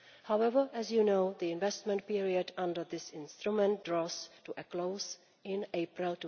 However, as you know, the investment period under this instrument draws to a close in April